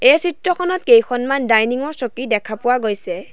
এই চিত্ৰখনত কেইখনমান ডাইনিং ৰ চকী দেখা পোৱা গৈছে।